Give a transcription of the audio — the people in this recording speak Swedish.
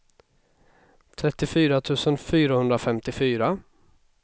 trettiofyra tusen fyrahundrafemtiofyra